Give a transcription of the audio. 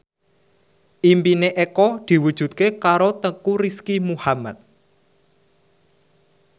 impine Eko diwujudke karo Teuku Rizky Muhammad